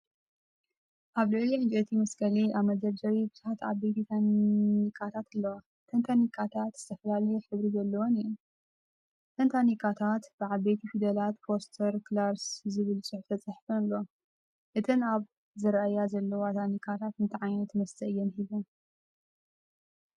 ኣብ ልዕሊ ዕንጨይቲ መስቀሊ ኣብ መደርደሪ ቡዝሓት ዓበይቲ ታኒካታት ኣለዋ። እተን ታኒካታት ዝተፈላለየ ሕብሪ ዘለወን እዩን ።እተን ታንክታት ብዓበይቲ ፊደላት “ፎስተር ክላርክ'ስ” ዝብል ጽሑፍ ተጻሒፈን ኣለዋን። እተን ኣብ ዝረኣያ ዘለዋ ታንክታት እንታይ ዓይነት መስተ እየን ሒዝን?